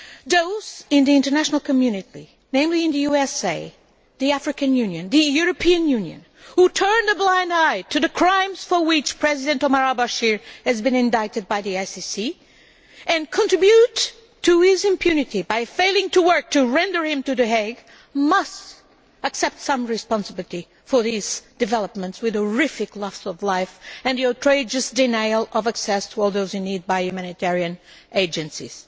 Those in the international community namely in the US, the African Union and the European Union who turn a blind eye to the crimes for which President Omar Hassan al Bashir has been indicted by the ICC, and contribute to his impunity by failing to work to render him to The Hague, must accept some responsibility for these developments, including the horrific loss of life and the outrageous denial of access for all those in need to humanitarian agencies.